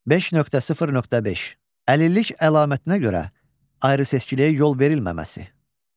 5.0.5 Əlillik əlamətinə görə ayrı seçkiliyə yol verilməməsi.